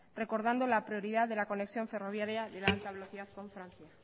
recordando la prioridad de la conexión ferroviaria de alta velocidad con francia